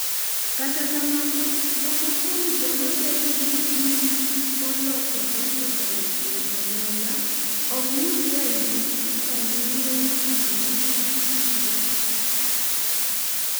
kata kamano, moko kuom joma bedo gi genes molokore kokalo kuom anyuola ok yud ranyisis familial pulmonary fibrosis